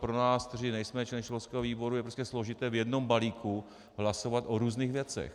Pro nás, kteří nejsme členy školského výboru, je prostě složité v jednom balíku hlasovat o různých věcech.